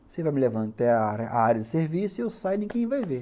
Você vai me levando até a a área de serviço e eu saio e ninguém vai ver.